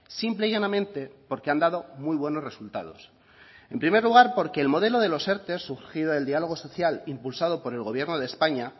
simple y llanamente porque han dado muy buenos resultados en primer lugar porque el modelo de los erte surgido del diálogo social impulsado por el gobierno de españa